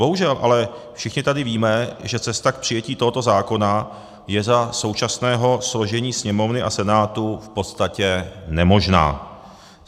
Bohužel ale všichni tady víme, že cesta k přijetí tohoto zákona je za současného složení Sněmovny a Senátu v podstatě nemožná.